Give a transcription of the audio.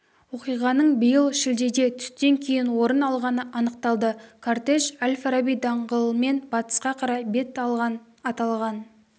оқиғаның биыл шілдеде түстен кейін орын алғаны анықталды кортеж әл-фараби даңғылымен батысқа қарай бет алған аталған